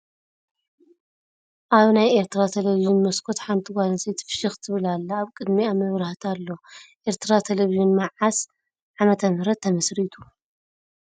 ኣብ ናይ ኤርትራ ቴለቨዥን ሞስኮት ሓንቲ ጋል ኣንስተይቲ ፍሽክ ትብል ኣላ ኣብ ቅድሚአ መብራህቲ ኣሎ ። ኤርትራ ቴለቨዥን ምዓዘ ዕ/ ም ተመስሪቱ ?